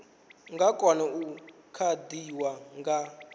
nga kona u kavhiwa nga